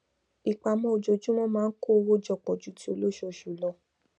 ìpamọ ojoojumọ maa n kó owo jọpọ ju ti olosoosu lọ